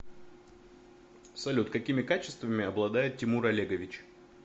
салют какими качествами обладает тимур олегович